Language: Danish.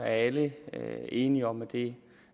alle enige om at det